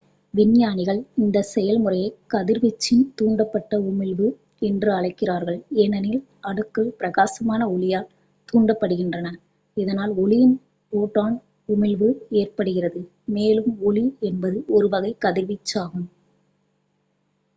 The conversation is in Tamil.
"விஞ்ஞானிகள் இந்த செயல்முறையை "கதிர்வீச்சின் தூண்டப்பட்ட உமிழ்வு" என்று அழைக்கிறார்கள் ஏனெனில் அணுக்கள் பிரகாசமான ஒளியால் தூண்டப்படுகின்றன இதனால் ஒளியின் ஃபோட்டான் உமிழ்வு ஏற்படுகிறது மேலும் ஒளி என்பது ஒரு வகை கதிர்வீச்சாகும்.